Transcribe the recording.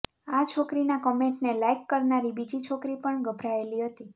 આ છોકરીના કમેંટને લાઈક કરનારી બીજી છોકરી પણ ગભરાયેલી હતી